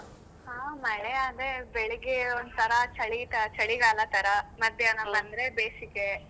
ಹಾ ಮಳೆ ಅದೆ ಬೆಳಿಗ್ಗೆ ಒಂತರಾ ಚಳಿ ತ~ ಚಳಿಗಾಲ ತರಾ ಬಂದ್ರೆ ಬೇಸಿಗೆ.